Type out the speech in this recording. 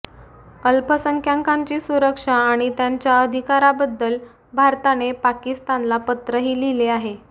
अल्पसंख्याकांची सुरक्षा आणि त्यांच्या अधिकाराबद्दल भारताने पाकिस्तानला पत्रही लिहिले आहे